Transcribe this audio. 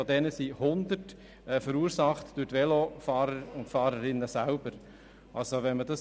Von diesen sind 100 Unfälle durch die Velofahrer und Velofahrerinnen selber verursacht.